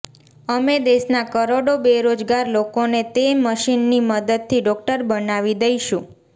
અમે દેશના કરોડો બેરોજગાર લોકોને તે મશીનની મદદથી ડોક્ટર બનાવી દઈશું